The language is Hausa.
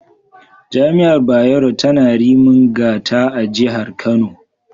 Jami’ar Bayero tana Rimin Gata a Jihar Kano.